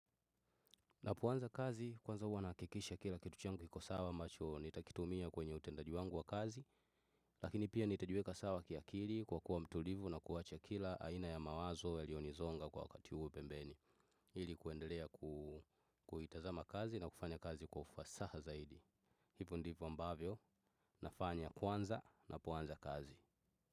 Napoanza kazi kwanza huwa naha kikisha kila kitu changu kiko sawa ambacho nitakitumia kwenye utendaji wangu wa kazi lakini pia nitajiweka sawa ki hakili kwa kuwa mtulivu na kuwacha kila haina ya mawazo yaliyo nizonga kwa wakati huo pembeni hili kuendelea kuhitazama kazi na kufanya kazi kwa hufasaha zaidi hivo ndivyo ambavyo nafanya kwanza napoanza kazi.